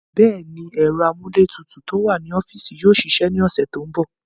Bẹ́ẹ̀ni, ẹ̀rọ amúlétutù tó wà ní ọ́fíìsì yóò ṣiṣẹ́ ní ọ̀sẹ̀ tó ń bọ̀.